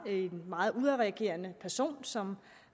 en meget udadreagerende person som